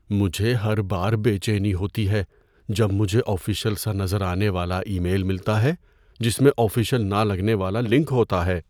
مجھے ہر بار بے چینی ہوتی ہے جب مجھے آفیشل سا نظر آنے والا ای میل ملتا ہے جس میں آفیشل نہ لگنے والا لنک ہوتا ہے۔